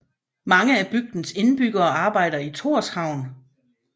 Mange af bygdens indbyggere arbejder i Tórshavn